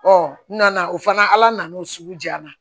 n nana o fana ala nana o sugu ja n na